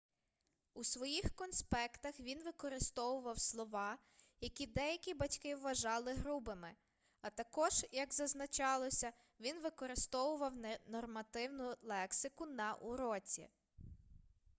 у своїх конспектах він використовував слова які деякі батьки вважали грубими а також як зазначалося він використовував ненормативну лексику на уроці